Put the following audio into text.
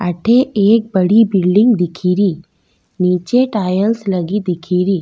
अठे एक बड़ी बिल्डिंग दिखेरी निचे टाइल्स लगी दीखेरी।